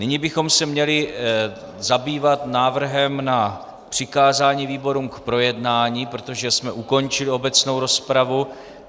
Nyní bychom se měli zabývat návrhem na přikázání výborům k projednání, protože jsme ukončili obecnou rozpravu.